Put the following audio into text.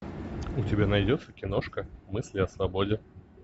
у тебя найдется киношка мысли о свободе